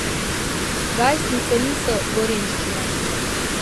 Gajstnice niso gorenjščina.